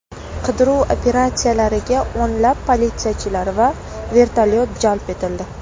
Qidiruv operatsiyalariga o‘nlab politsiyachilar va vertolyot jalb etildi.